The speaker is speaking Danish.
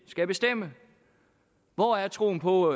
skal bestemme hvor er troen på